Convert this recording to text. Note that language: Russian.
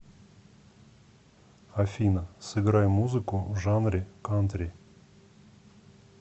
афина сыграй музыку в жанре кантри